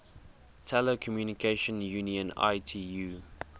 telecommunication union itu